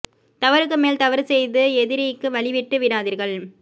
தவறுக்கு மேல் தவறு செய்து எதிரிக்கு வழி விட்டு விடாதீர்கள்